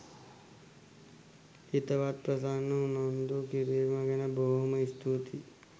හිතවත් ප්‍රසන්න උනන්දු කිරීම ගැන බොහෝම ස්තුතියි.